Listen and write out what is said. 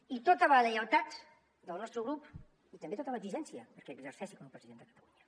i tota la lleialtat del nostre grup i també tota l’exigència perquè exerceixi com a president de catalunya